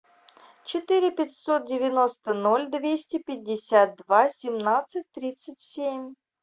четыре пятьсот девяносто ноль двести пятьдесят два семнадцать тридцать семь